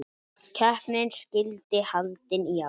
Keppnin skyldi haldin í ár.